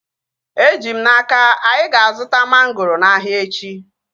Eji m n'aka, anyị ga-azuta mangoro n'ahia echi